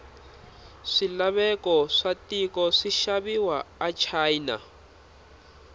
swilaveko watiko swishaviwa achina